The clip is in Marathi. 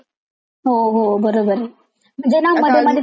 जेना मध्ये मध्ये त्या झी मराठी वर त्या सीरिअल होत्या ना?